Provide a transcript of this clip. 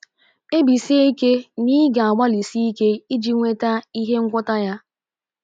Kpebisie ike na ị ga - agbalịsi ike iji nweta ihe ngwọta ya.